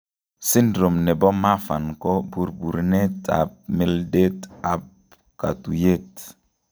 Syndrome nebo marfan ko burburenet ab meldet ab katuiyet